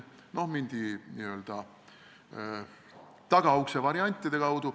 No mindi n-ö tagaukse variantide kaudu.